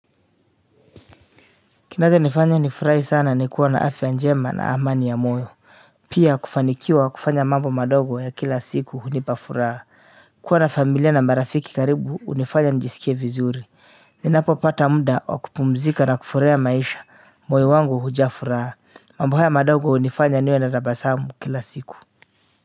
Kinacho nifanya nifurahi sana ni kuwa na afya njema na amani ya moyo pia kufanikiwa kufanya mambo madogo ya kila siku hunipa furaha kuwa na familia na marafiki karibu unifanya nijiskie vizuri ninapo pata muda wa kupumzika na kufurahia maisha moyo wangu huja furaha mambo haya madogo unifanya niwe na tabasamu kila siku.